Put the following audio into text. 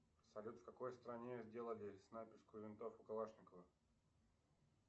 салют в какой стране сделали снайперскую винтовку калашникова